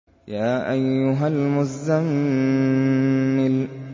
يَا أَيُّهَا الْمُزَّمِّلُ